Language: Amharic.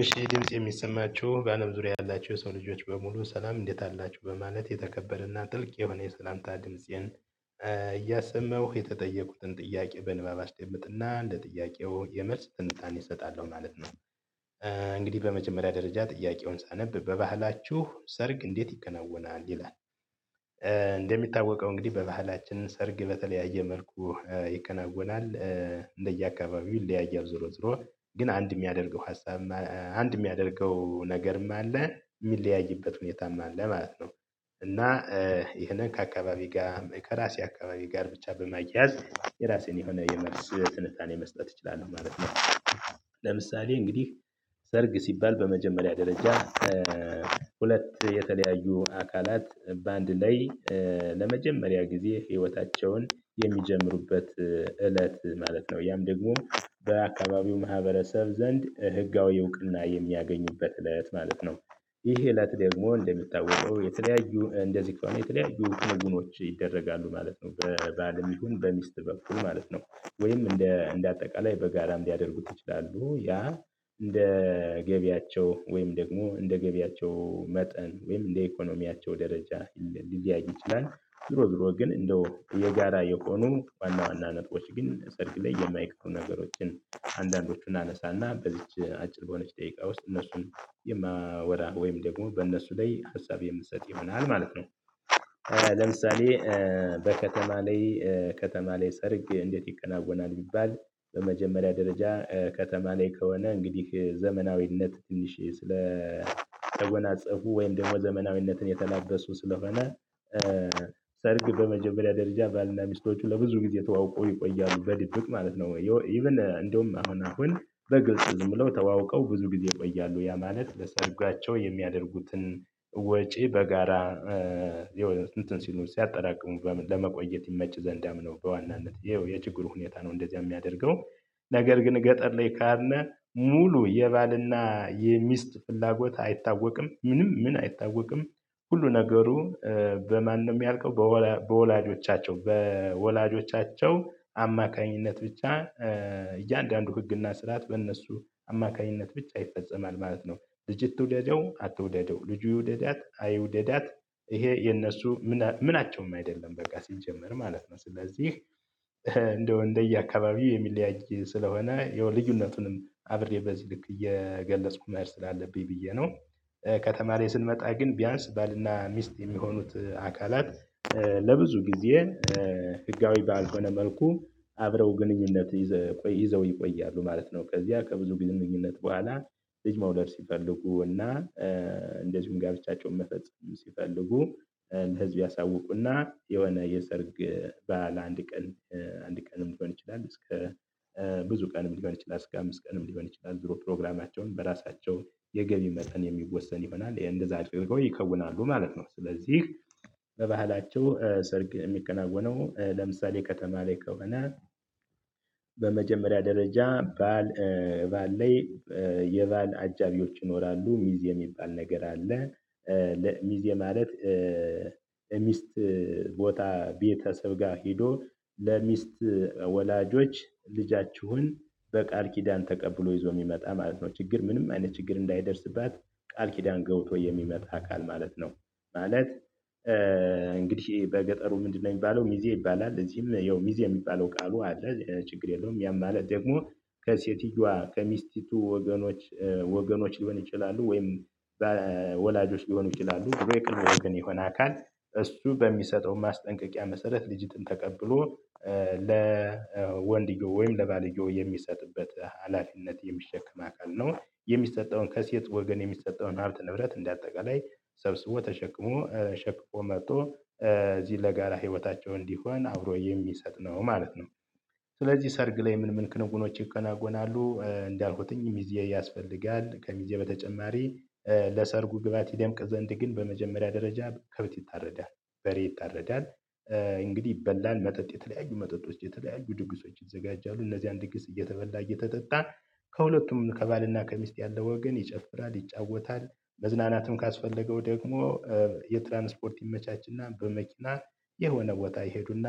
እሺ ድምጽ የሚሰማችሁ በአለም ዙሪያ ያላችሁ የሰው ልጆች በሙሉ ሰላም እንዴት አላችሁ በማለት የተከበረና ጥልቅ የሆነ የሰላምታ ድምፄን እያሰመሁ የተጠየቁትን ጥያቄ በንባብ አስደምጥና ለጥያቄው የመልስ ትንታኔ እሰጣለሁ ማለት ነው። እንግዲህ በመጀመሪያ ደረጃ ጥያቄውን ሳነብ በባህላችሁ ሰርግ እንዴት ይከናወናል ይላል? እንደሚታወቀው እንግዲህ በባህላችን ሰርግ በተለያየ መልኩ ይከናወናል። እንደየአካባቢው ይ ያየው ዞሮ ዞሮ ግን አንድ የሚያደርገው ሀሳብ አንድ የሚያደርገው ነገርም አለ የሚለያይበት ሁኔታም አለ ማለት ነው። እና ይሄን ከአካባቢ ጋር ከራሴ አካባቢ ጋር ብቻ በማያያዝ የራሴን የሆነ የመልስ ትንታኔ መስጠት እችላለሁ ማለት ነው። ለምሳሌ እንግዲህ ሰርግ ሲባል በመጀመሪያ ደረጃ ሁለት የተለያዩ አካላት በአንድ ላይ ለመጀመሪያ ጊዜ ህይወታቸውን የሚጀምሩበት እለት ማለት ነው ያም ደግሞ በአካባቢው ማህበረሰብ ዘንድ ህጋዊ እውቅና የሚያገኙበት እለት ማለት ነው። ይሄ እለት ደግሞ እንደሚታወቀው የተለያዩ እንደዚህ ከሆነ የተለያዩ ትርጉሞች ይደረጋሉ ማለት ነው በባልም ይሁን በሚስት በኩል ማለት ነው። ወይም እንደ እንደ አጠቃላይ በጋራም ሊያደርጉት ይችላሉ ያ እንደ ገቢያቸው ወይም ደግሞ እንደ ገቢያቸው መጠን ወይም እንደ ኢኮኖሚያቸው ደረጃ ሊለያዩ ይችላል። ዞሮ ዞሮ ግን እንደው የጋራ የሆኑ ዋና ዋና ነጥቦች ግን ሰርግ ላይ የማይቀሩ ነገሮችን አንዳንዶቹን አነሳና በዚች አጭር በሆነች ደቂቃ ውስጥ እነሱን የማወራ ወይም ደግሞ በእነሱ ላይ ሀሳብ የምሰጥ ይሆናል ማለት ነው። ለምሳሌ በከተማ ላይ ከተማ ላይ ሰርግ እንዴት ይከናወናል ቢባል? በመጀመሪያ ደረጃ ከተማ ላይ ከሆነ እንግዲህ ዘመናዊነት ትንሽ ስለ ተጎናፃፉ ወይም ደግሞ ዘመናዊነትን የተላበሱ ስለሆነ። ሰርግ በመጀመሪያ ደረጃ ባልና ሚስቶቹ ለብዙ ጊዜ ተዋውቆ ይቆያሉ በድብቅ ማለት ነው ኢቭን እንደውም አሁን አሁን በግልጽ ዝም ብለው ተዋውቀው ብዙ ጊዜ ይቆያሉ ያ ማለት ለሰርጓቸው የሚያደርጉትን ወጪ በጋራ እንትን ሲሉ ሲያጠራቅሙ ለመቆየት ይመች ዘንዳም ነው። በዋናነት ይኸው የችግሩ ሁኔታ ነው እንደዚያ የሚያደርገው። ነገር ግን ገጠር ላይ ከሄድን ሙሉ የባልና የሚስት ፍላጎት አይታወቅም ምንም ምን አይታወቅም። ሁሉ ነገሩ በማንም ነው የምያልቀው በወላጆቻቸው በወላጆቻቸው አማካኝነት ብቻ እያንዳንዱ ህግና ስርዓት በእነሱ አማካኝነት ብቻ ይፈጸማል ማለት ነው። ልጅት ትውደደው አትውደደው ልጁ ይውደዳት አይውደዳት ይሄ የነሱ ምን ምንቸውም አይደለም በቃ ሲጀመር ማለት ነው። ስለዚህ እንደው እንደየአካባቢው የሚለያይ ስለሆነ ያው ልዩነቱንም አብሬ በዚህ ልክ እየገለጽኩኝ መሄድ ስላለብኝ ብዬ ነው። ከተማ ላይ ስንመጣ ግን ቢያንስ ባልና ሚስት የሚሆኑት አካላት ለብዙ ጊዜ ህጋዊ ባልሆነ መልኩ አብረው ግንኙነት ይዘው ይቆያሉ ማለት ነው። ከዚያ ከብዙ ግንኙነት በኋላ ልጅ መውለድ ሲፈልጉ እና እንደዚሁም ጋብቻቸውን መፈፀር ሲፈልጉ ለህዝብ ያሳውቁና የሆነ የሰርግ ባዓለ አንድ ቀን አንድ ቀንም ሊሆን ይችላል። እስከ ብዙ ቀን ሊሆን ይችላል እስከ አምስት ቀንም ሊሆን ይችላል ዞሮ ፕሮግራማቸውን በራሳቸው የገቢ መጠን የሚወሰን ይሆናል እንደዚያ አድርገው ይከውናሉ ማለት ነው። ስለዚህ በባህላቸው ሰርግ የሚከናወነው ለምሳሌ ከተማ ላይ ከሆነ። በመጀመሪያ ደረጃ ባል ባል ላይ የባል አጃቢዎች ይኖራሉ ሚዜ የሚባል ነገር አለ። ለሚዜ ማለት የሚስት ቦታ ቤተሰብ ጋር ሄዶ ለሚስት ወላጆች ልጃችሁን በቃል ኪዳን ተቀብሎ ይዞ የሚመጣ ማለት ነው። ችግር ምንም አይነት ችግር እንዳይደርስባት ቃል ኪዳን ገብቶ የሚመጣ አካል ማለት ነው። ማለት እንግዲህ በገጠሩ ምንድነው? የሚባለው ሚዜ ይባላል እዚህም ያው ሚዜ የሚባለው ቃሉ አለ ችግር የለውም። ያም ማለት ደግሞ ከሴትየዋ ከሚስቲቱ ወገኖች ወገኖች ሊሆን ይችላሉ ወይም በወላጆች ሊሆኑ ይችላሉ የቅርብ ወገን የሆነ አካል እሱ በሚሰጠው ማስጠንቀቂያ መሰረት ልጅትን ተቀብሎ ለወንድየው ወይም ለባልዮየው የሚሰጥበት ሀላፊነት የሚሸከም አካል ነው። የሚሰጠውን ከሴት ወገን የሚሰጠውን ሀብት ንብረት እንደ አጠቃላይ ሰብስቦ ተሸክሞ ሸክፎ መጥቶ እዚህ ለጋራ ህይወታቸው እንዲሆን አብሮ የሚሰጥ ነው ማለት ነው። ስለዚህ ሰርግ ላይ ምን ምን ክንውኖች ይከናወናሉ? እንዳልኩትኝ ሚዜ ያስፈልጋል ከሚዜ በተጨማሪ ለሰርጉ ግብአት ይደምቅ ዘንድ ግን በመጀመሪያ ደረጃ ከብት ይታረዳል። በሬ ይተረዳል። እንግዲህ ይበላል መጠጥ የተለያዩ መጠጦች የተለያዩ ድግሶች ይዘጋጃሉ። እነዚህ ድግስ እየተበላ እየተጠጣ ከሁለቱም ከባልና ከሚስት ያለው ወገን ይጨፍራል ይጫወታል። መዝናናትም ካስፈለገው ደግሞ የትራንስፖርት ይመቻችና በመኪና የሆነ ቦታ ይሄዱና